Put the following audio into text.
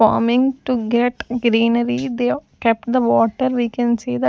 farming to get greenery they kept the water we can see that --